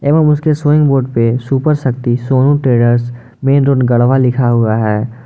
उसके बोर्ड पे super Shakti Sonu traders main road Garhwa लिखा हुआ है।